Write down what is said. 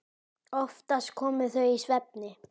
Oftast komu þau í svefni.